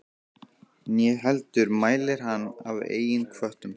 Né heldur mælir hann af eigin hvötum.